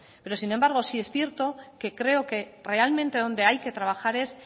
pero sin embargo sí es cierto que creo que realmente donde hay que trabajar es